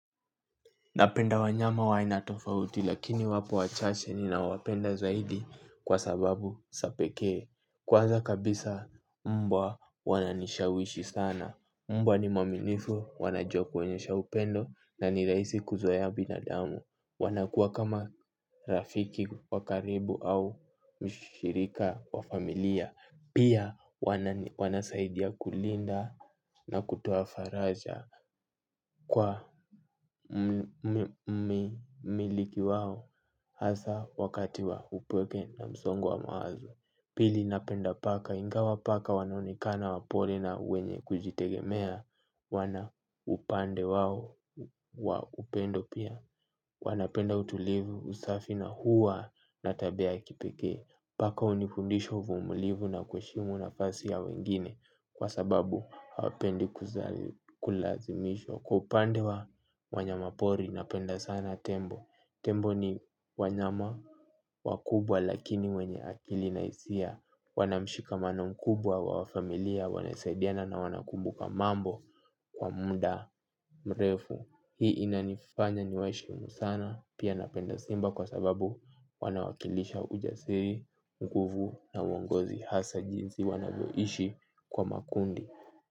Napenda wanyama wa aina tofauti lakini wapo wachache ninawapenda zaidi kwa sababu za pekee. Kwaza kabisa mbwa wananishawishi sana. Mbwa ni mwaminifu wanajua kuonyesha upendo na ni rahisi kuzoea binadamu. Wanakuwa kama rafiki wa karibu au mshirika wa familia. Pia wanasaidia kulinda na kutoa faraja kwa mmiliki wao hasa wakati wa upweke na msongo wa mawazo. Pili napenda paka ingawa paka wanaonekana wapole na wenye kujitegemea wana upande wao wa upendo pia. Wanapenda utulivu usafi na huwa na tabia ya kipekee. Paka hunifundisha uvumulivu na kuheshimu nafasi ya wengine. Kwa sababu hapendi kulazimishwa. Kwa upande wa wanyama pori napenda sana tembo. Tembo ni wanyama wakubwa lakini wenye akili na hisia. Wana mshikamano mkubwa wa familia wanasaidiana na wanakumbuka mambo kwa muda mrefu. Hii inanifanya niwaheshimu sana pia napenda simba kwa sababu wanawakilisha ujasiri nguvu na uongozi hasa jinsi wanavyoishi kwa makundi.